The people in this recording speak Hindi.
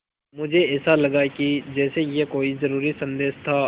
मुझे ऐसा लगा कि जैसे यह कोई ज़रूरी संदेश था